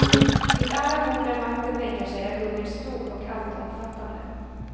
Vid alla bord där makten bänkar sig är hungern stor och alltomfattande.